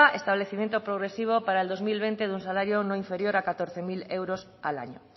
establecimiento progresivo para el dos mil veinte de un salario no inferior a catorce mil euros al año